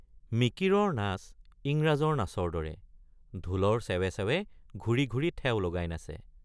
মিকিৰৰ নাচ ইংৰাজৰ নাচৰ দৰে, ঢোলৰ ছেৱে ছেৱে ঘূৰি ঘূৰি ঠেও লগাই নাচে।